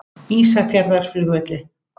Ísafjarðarflugvelli